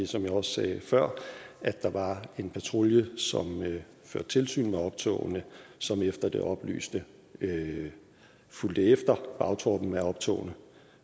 som jeg også sagde før at der var en patrulje som førte tilsyn med optogene og som efter det oplyste fulgte efter bagtroppen af optogene